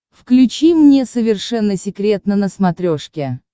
включи мне совершенно секретно на смотрешке